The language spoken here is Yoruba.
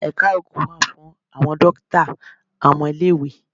Ẹ̀ka oògùn wà fún àwọn dókítà ọmọ ilé-ìwé.